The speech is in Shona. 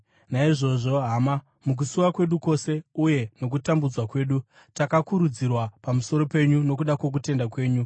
Naizvozvo, hama, mukusuwa kwedu kwose uye nokutambudzwa kwedu, takakurudzirwa pamusoro penyu nokuda kwokutenda kwenyu.